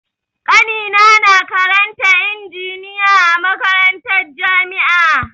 Ƙanina na karanta injiniya a makarantar jami'a.